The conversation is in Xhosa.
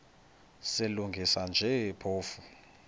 silungisa nje phofu